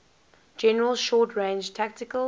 general short range tactical